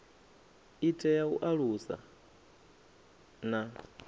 i tea u alusa na